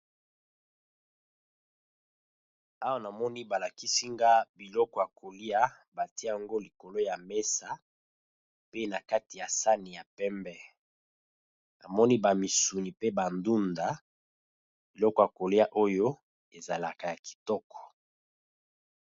Awa namoni ba lakisi nga biloko ya kolia batie yango likolo ya mesa pe na kati ya sani ya pembe, namoni ba misuni pe ba ndunda biloko ya kolia oyo ezalaka ya kitoko.